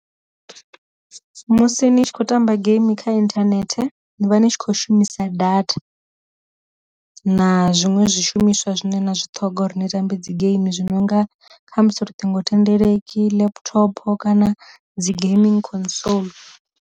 Musi ni tshi khou tamba game kha inthanethe ni vha ni tshi kho shumisa data, na zwiṅwe zwi shumiswa zwine na zwi ṱhoga uri ni tambe dzi game zwi nonga kha musi ṱhingo thendeleki laptop kana dzi gaming console.